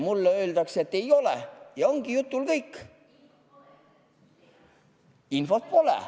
Mulle öeldakse, et ei ole, ja ongi jutul lõpp, infot pole.